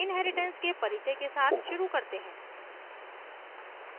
inheritance के परिचय के साथ शुरू करते हैं